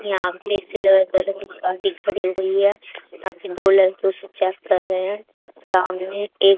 यहाँ पे की खड़ी हुई है यहाँ पे दो लड़के उसे चेक कर रहे हैं सामने एक--